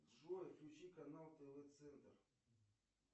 джой включи канал тв центр